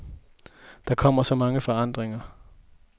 Der kommer så mange forandringer.